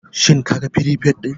Shin kaga firifet din?